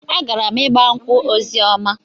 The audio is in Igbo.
Agara m ịgba nkwụ Ozioma.